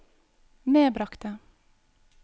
medbragte